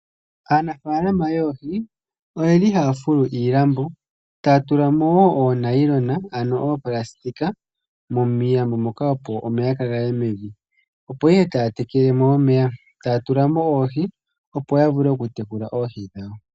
Aanafaalama yoohi oyeli haya fulu iilambo, e taya tulamo oonayilona miilambo moka opo omeya kaagaye mevi. Opo ihe taya tekele mo omeya, e taya tulamo oohi opo yavule okutekula oohi dhawo.